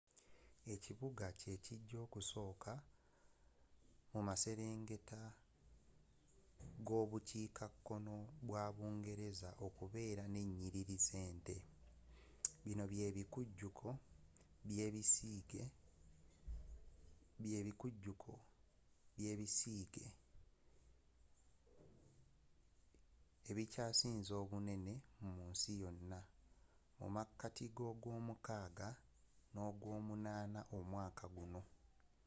ekibuga kyekijja okusooka muaserengeta gobukiika kkoo bwa bungereza okubeera nenyiriri zente bino byebikujuko byebisiige ebikyasinze obunene mu nsi yonna mumakati gogwomukaaga nogwomunaana omwaka guno